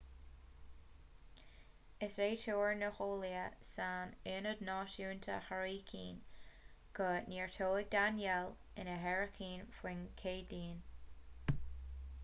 is é tuar na n-eolaithe san ionad náisiúnta hairicín go neartóidh danielle ina hairicín faoin gcéadaoin